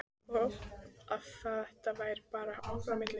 Og að þetta væri bara okkar á milli.